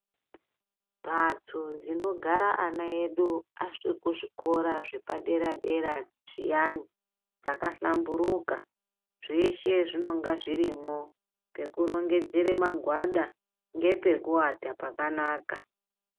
Mbatso dzinogara ana edu achiri kuzvikora zvepadera dera zviyani dzakahlamburuka zveshe zvinonga zvirimo pekurongere magwada ngepekuwata pakanaka.